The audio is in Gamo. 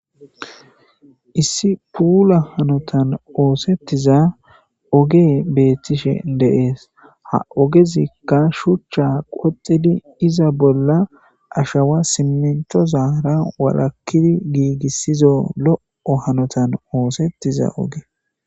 Issi puula hanotan oosettiza oge beettishe deees ha ogezikka shuchcha qoxidi iza bolla ashawa simentozara warakkidi giigissizo lo'o hanotan oosettiza oge.